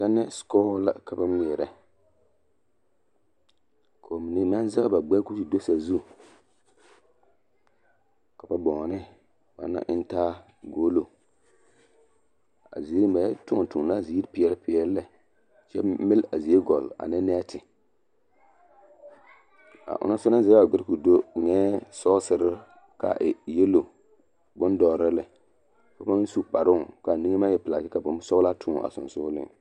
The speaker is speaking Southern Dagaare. Tɛnɛse bɔɔl la ka ba ŋmeɛrɛ k'o mine maŋ zɛge ba gbɛre k'o te do sazu ka ba bɔnne banaŋ a eŋ taa goolo a ziiri ba yɛ tõɔ tõɔ la a ziiri peɛle peɛle lɛ kyɛ mele a zie gɔlle ane nɛɛte a onaŋ soba naŋ zɛge a gɛre k'o do eŋɛɛ sɔɔsere k'a e yelo, bondɔre la lɛ kyɛ pãã su kparoo k'a niŋe maŋ e pelaa kyɛ ka bonsɔgelaa tõɔ a sonsogeleŋ.